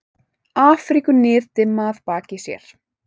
Afríku niðdimma að baki sér.